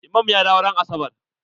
Imam ya dawo ran asabar.